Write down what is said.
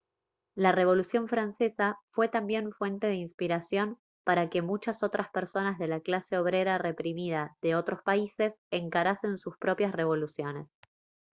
la revolución francesa fue también fuente de inspiración para que muchas otras personas de la clase obrera reprimida de otros países encarasen sus propias revoluciones